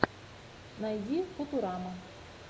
найди футурама